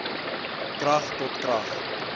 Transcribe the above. krag tot krag